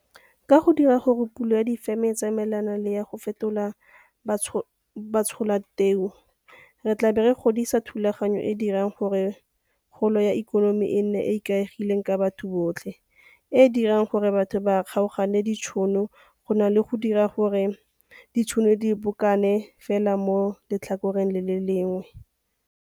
Ka go dira gore pulo ya difeme e tsamaelane le ya go fetola batsholateu, re tla bo re godisa thulaganyo e e dirang gore kgolo ya ikonomi e nne e e ikaegileng ka batho botlhe e e dirang gore batho ba kgaogane ditšhono go na le go dira gore ditšhono di bokane fela mo letlhakoreng le le lengwe.